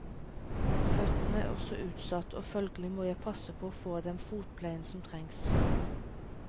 Føttene er også utsatt, og følgelig må jeg passe på å få den fotpleien som trengs.